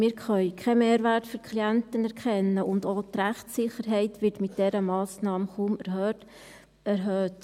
Wir können keinen Mehrwert für die Klienten erkennen, und auch die Rechtssicherheit wird mit dieser Massnahme kaum erhöht.